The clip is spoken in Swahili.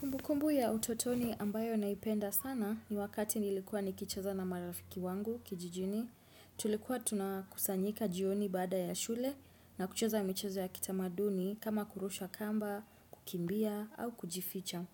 Kumbu kumbu ya utotoni ambayo naipenda sana ni wakati nilikuwa nikichaza na marafiki wangu kijijini. Tulikuwa tunakusanyika jioni bada ya shule na kuchaza michazo ya kitamaduni kama kurusha kamba, kukimbia au kujificha.